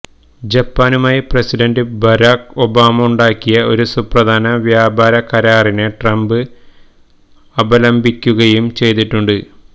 ജപ്പാനുമായി president Barack ഒബായുണ്ടാക്കിയ ഒരു സുപ്രധാന വ്യാപാര കരാറിനെ ട്രംപ് അപലപിക്കുകയും ചെയ്തിട്ടുണ്ട്